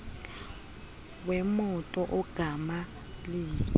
wemoto ogama liyi